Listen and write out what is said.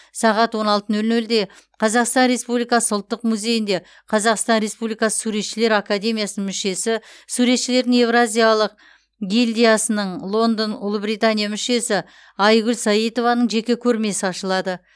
сағат он алты нөл нөлде қазақстан республикасы ұлттық музейінде қазақстан республикасы суретшілер академиясының мүшесі суретшілердің еуразиялық гильдиясының лондон ұлыбритания мүшесі айгүл саитованың жеке көрмесі ашылады